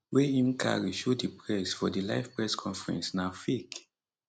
wey im carry show di press for di live press conference na fake